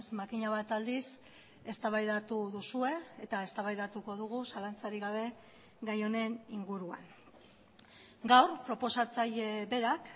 makina bat aldiz eztabaidatu duzue eta eztabaidatuko dugu zalantzarik gabe gai honen inguruan gaur proposatzaile berak